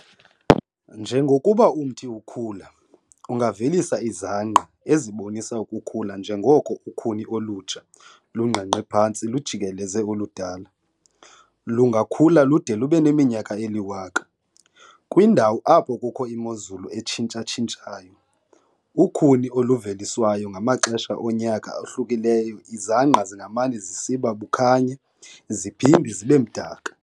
Njengokuba umthi ukhula, ungavelisa izangqa ezibonisa ukukhula njengoko ukhuni olutsha lungqengqe phantsi lujikeleze oludala. lungakhula lude lubeneminyaka eliwaka. kwindawo apho kukho imozulu etshintsha-tshintshayo, ukhuni oluveliswayo ngamaxesha onyaka ahlukileyo izangqa zingamane zisiba bukhanya ziohinde zibemdaka.